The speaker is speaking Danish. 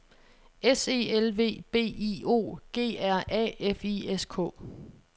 S E L V B I O G R A F I S K